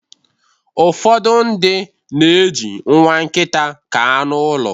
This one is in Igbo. ụfọdụ ndị na-eji nwa nkịta ka anụ ụlọ